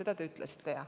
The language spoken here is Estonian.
Seda te jah ütlesite.